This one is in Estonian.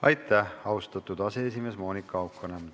Aitäh, austatud komisjoni aseesimees Monika Haukanõmm!